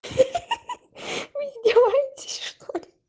ха-ха-ха вы издеваетесь что ли